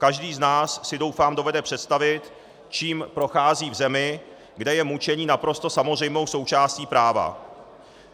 Každý z nás si, doufám, dovede představit, čím prochází v zemi, kde je mučení naprosto samozřejmou součástí práva.